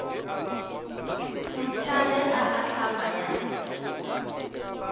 putu ge e ahlama ya